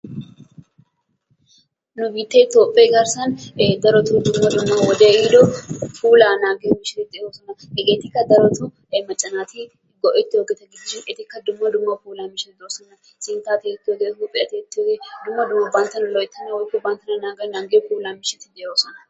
Nu biittee toophphee garssan e darottoo dumma dumma wode ehiido puulaa naagiyo deo'oosona. Heggetikka darottoo e macca naati go'ettiyo ettikka dumma dumma puulanchchata de'eesona. sinttaa tiyettiyoogee, huuphphiya tiyettiyoogee dumma dumma banttana loyttanawu banttana nangiya puulanchchati de'oosona.